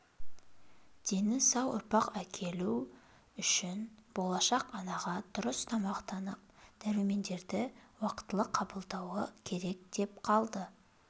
дені сау ұрпақ әкелу үшін болашақ анаға дұрыс тамақтанып дәрумендерді уақтылы қабылдауы керек деп қалды